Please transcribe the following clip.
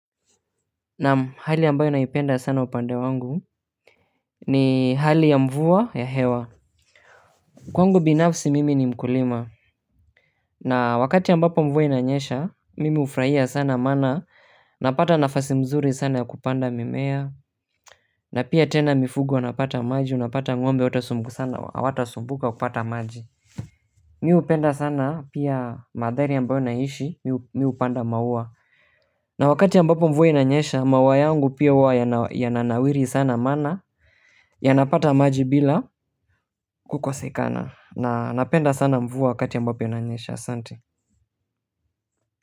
Naam. Hali ambayo naipenda sana upande wangu, ni hali ya mvua ya hewa. Kwangu binafsi mimi ni mkulima na wakati ambapo mvua inanyesha mimi hufurahia sana maana napata nafasi mzuri sana ya kupanda mimea, na pia tena mifugo wanapata maji unapata ng'mbe hawatasumbuka kupata maji. Mi hupenda sana pia mandhari ambayo naishi, mi hupanda maua. Na wakati ambapo mvua inanyesha maua yangu pia huwa yana nawiri sana maana yanapata maji bila kukosekana na napenda sana mvua wakati ambapo inanyesha. Asanti.